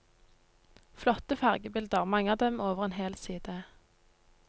Flotte fargebilder, mange av dem over en hel side.